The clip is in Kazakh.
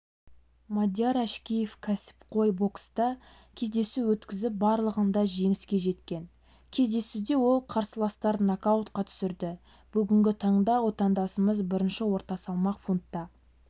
мадияр әшкеев кәсіпқой бокста кездесу өткізіп барлығында жеңіске жеткен кездесуде ол қарсыластарын нокаутқа түсірді бүгінгі таңда отандасымыз бірінші орта салмақ фунтта